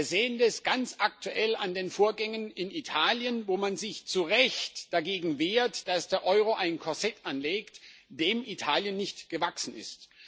Wir sehen das ganz aktuell an den Vorgängen in Italien, wo man sich zu Recht dagegen wehrt, dass der Euro ein Korsett anlegt, dem Italien nicht gewachsen ist.